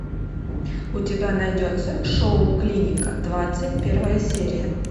у тебя найдется шоу клиника двадцать первая серия